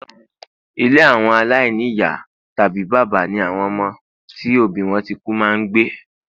ile awo alaini iya tabi baba ni awon omo ti obi won ti ku ma ngbe